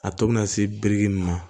A tɔ bɛ na se biriki ma